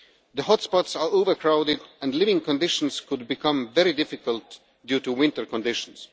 The hotspots are overcrowded, and living conditions could become very difficult due to winter conditions.